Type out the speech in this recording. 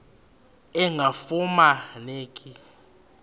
engafuma neki lula